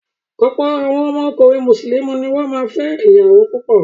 Ọ̀pọ̀ àwọn ọkùnrin Mùsùlùmí ni wọ́n máa ń fẹ́ ìyàwó púpọ̀.